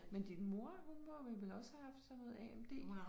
Men din mor hun må vel vel også have haft sådan noget AMD